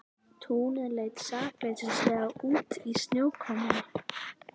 Túnið leit sakleysislega út í snjókomunni.